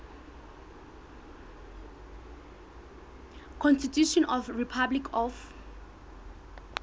constitution of the republic of